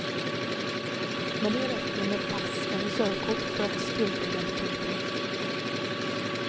Men det räcker med pass eller körkort för att styrka identiteten.